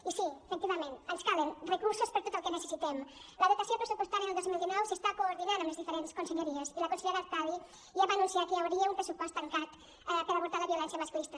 i sí efectivament ens calen recursos per a tot el que necessitem la dotació pressupostària del dos mil dinou s’està coordinant amb les diferents conselleries i la consellera artadi ja va anunciar que hi hauria un pressupost tancat per abordar la violència masclista